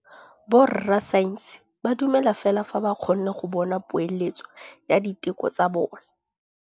Borra saense ba dumela fela fa ba kgonne go bona poeletsô ya diteko tsa bone.